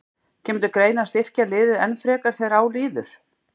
Kemur til greina að styrkja liðið enn frekar þegar á líður?